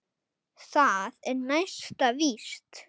Það er næsta víst!